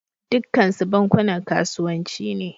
Dukkansu bankunan kasuwanci ne